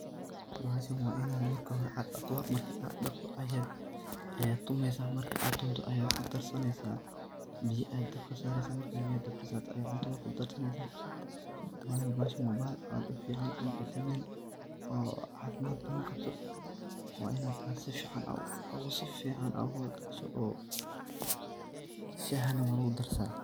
Bahashan wa Ina marki hori AA daqtoh , marka AA daqtoh ayat Aya tumeysah marka tuntoh ayat ku darsaneysah biya Aya dabka sareysah markat biya dabka saartoh Aya cunto kudarsaneysah wayo bahashan wa bahal fican oo dadaman oo cafimad bathan Qabtoh wa Inaat sufican AA u daqtoh oo sufican saaah nah walagu darsathan.